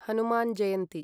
Hanuman Jayanti